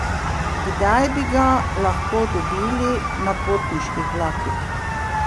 Kdaj bi ga lahko dobili na potniških vlakih?